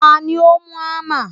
Tani ó mú ámà?